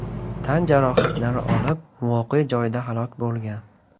tan jarohatlari olib, voqea joyida halok bo‘lgan.